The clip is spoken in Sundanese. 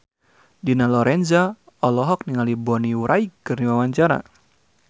Dina Lorenza olohok ningali Bonnie Wright keur diwawancara